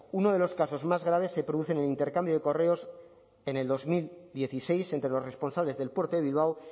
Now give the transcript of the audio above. uno de los casos más graves se produce en un intercambio de correos en dos mil dieciséis entre los responsables del puerto de bilbao